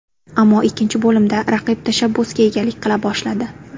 Ammo ikkinchi bo‘limda raqib tashabbusga egalik qila boshladi.